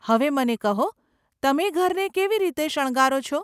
હવે મને કહો, તમે ઘરને કેવી રીતે શણગારો છો?